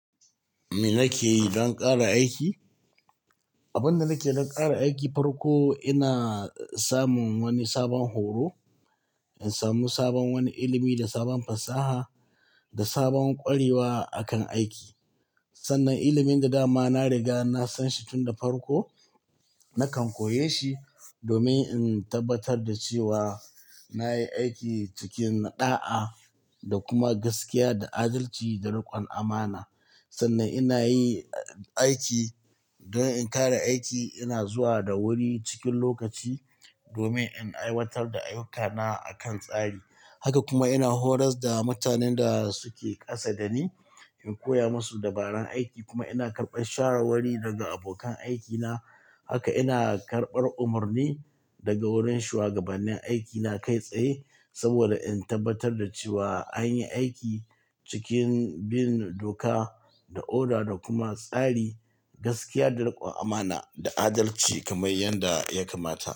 Me nake yi don ƙara aiki? Abin da nake yi don ƙara aiki, farko ina samun wani sabon horo, in samu sabon wani ilimi da sabon fasaha da sabon ƙwarewa a kan aiki. Sannan ilimin da dama na riga na san shi tun da farko, nakan koyeshi domin in tabbatar da cewa na yi aiki cikin ɗa'a da kuma gaskiya da adalci da riƙon amana. Sannan ina yi aiki don in ƙara aiki, ina zuwa da wuri cikin lokaci domin in aiwatar da ayyukana a kan tsari. Haka kuma ina horas da mutanen da suke ƙasa da ni, in koya musu dabarar aiki. Kuma ina karɓar shawarwari daga abokan aikina. Haka ina karɓar umarni daga wurin shuwagabannin aikina kai tsaye saboda in tabbatar da cewa an yi aiki cikin bin doka da oda da kuma tsari, gaskiya, da riƙon amana da adalci kamar yadda ya kamata.